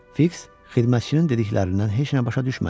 Fiks xidmətçinin dediklərindən heç nə başa düşmədi.